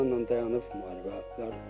İranla dayanıb müharibələr.